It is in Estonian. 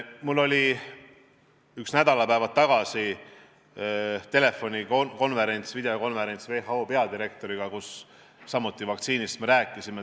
Mul oli nädalapäevad tagasi videokonverents WHO peadirektoriga, kus me samuti vaktsiinist rääkisime.